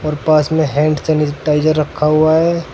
और पास में हैंड सैनिटाइजर रखा हुआ है।